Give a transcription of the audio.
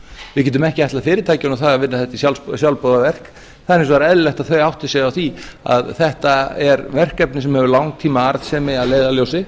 við getum ekki ætlað fyrirtækjunum það að vinna þetta í sjálfboðavinnu það er hins vegar eðlilegt að það átti sig á því að þetta er verkefni sem hefur langtímaarðsemi að leiðarljósi